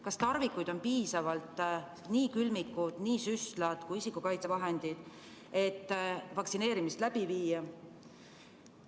Kas tarvikuid on piisavalt – nii külmikud, süstlad kui ka isikukaitsevahendid –, et vaktsineerimist läbi viia?